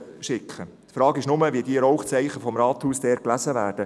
Die Frage ist nur, wie diese Rauchzeichen aus dem Rathaus dort gelesen werden.